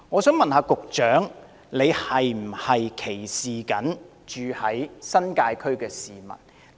請問局長是否歧視新界區的居民呢？